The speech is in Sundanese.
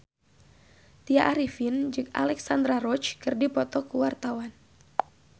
Tya Arifin jeung Alexandra Roach keur dipoto ku wartawan